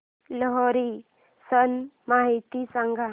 लोहरी सण माहिती सांगा